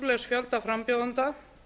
ótrúlegs fjölda frambjóðenda